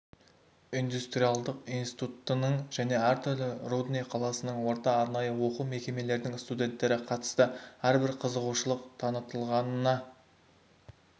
индустриалдық институтының және әртүрлі рудный қаласының орта арнайы оқу мекемелердің студенттері қатысты әрбір қызығушылық танытылғанына